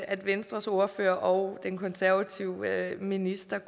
at venstres ordfører og den konservative minister